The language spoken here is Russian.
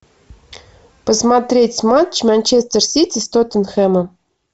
посмотреть матч манчестер сити с тоттенхэмом